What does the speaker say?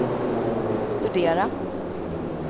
studera